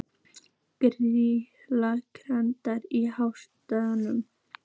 Geirný, hækkaðu í hátalaranum.